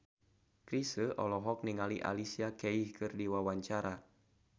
Chrisye olohok ningali Alicia Keys keur diwawancara